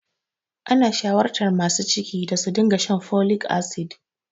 Ana shawartar masu ciki da su dinga shan folic acid.